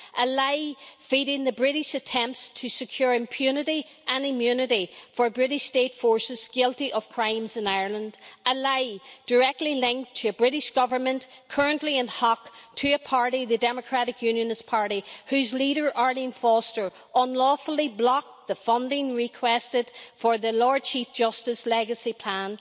A lie feeding the British attempts to secure impunity and immunity for British state forces guilty of crimes in Ireland. A lie directly linked to a British government currently in hock to a party, the Democratic Unionist Party, whose leader, Arlene Foster, unlawfully blocked the funding requested for the Lord Chief Justice's legacy plan.